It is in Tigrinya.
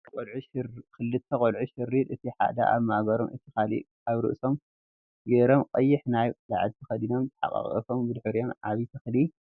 ክልተ ቆልዑ ሽርጥ እቲ ሓደ ኣብ ማእገሮም እቲ ካሊእ ኣብ ርእሶምን ጌሮም ቀይሕ ናይ ላዕሊ ተከዲኑ ተሓቃቂፎም ብድሕሪኦም ዓብይ ተክሊ